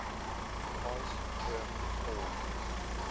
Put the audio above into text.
cos term called